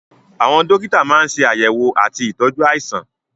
Àwọn dókítà máa ń ṣe àyẹ̀wò àti ìtọ́jú àìsàn